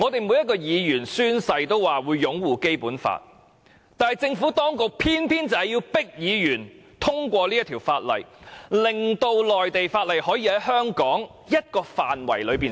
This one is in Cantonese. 每位議員在宣誓時也承諾會擁護《基本法》，但政府當局偏要迫使議員通過《條例草案》，令內地法例可以在香港的某個範圍內實施。